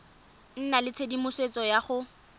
nna le tshedimosetso ya go